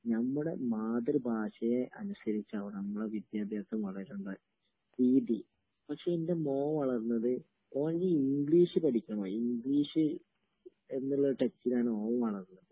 നമ്മുടെ മാതൃഭാഷയെ അനുസരിച്ചാവണം നമ്മടെ വിദ്യാഭ്യാസവും വളരേണ്ടത്. രീതി. പക്ഷേ എന്റെ മോൻ വളർന്നത്, ഓന് ഇംഗ്ളീഷ് പടിക്കണമായ്ന്ന്...ഇംഗ്ളീഷ് എന്നുള്ള ടെന്ഷനിലാണ് ഓൻ വളർന്നത്.